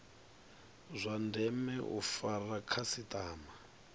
zwa ndeme u fara khasitama